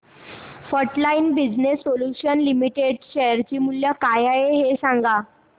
frontline business solutions limited share चे मूल्य काय आहे हे सांगा